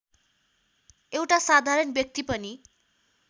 एउटा साधारण व्यक्ति पनि